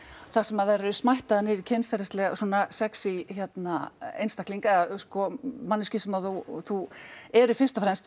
þar sem þær eru niður í kynferðisleg svona sexí hérna einstaklinga eða sko manneskjur sem að þú þú eru fyrst og fremst